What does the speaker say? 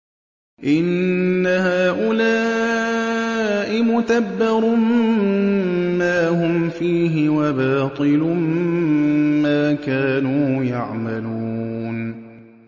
إِنَّ هَٰؤُلَاءِ مُتَبَّرٌ مَّا هُمْ فِيهِ وَبَاطِلٌ مَّا كَانُوا يَعْمَلُونَ